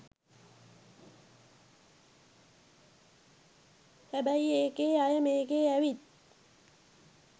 හැබැයි ඒකේ අය මේකේ ඇවිත්